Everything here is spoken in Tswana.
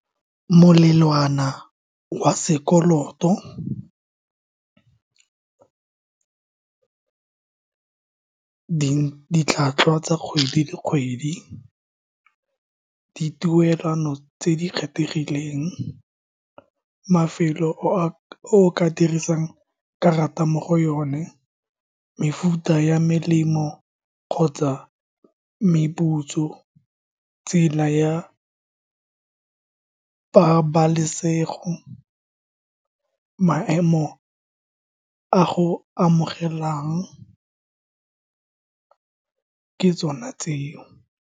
Molelwana wa sekoloto ditlhwatlhwa tsa kgwedi le kgwedi, dituelano tse di kgethegileng, mafelo a o ka dirisang karata mo go yone, mefuta ya melemo kgotsa meputso, tsela ya pabalesego, maemo a go amogelang, ke tsona tseo.